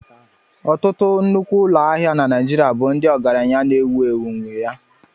Ọtụtụ nnukwu ụlọ ahịa na Naijiria bụ ndị ọgaranya na-ewu ewu nwé ya